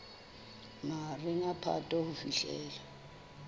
mahareng a phato ho fihlela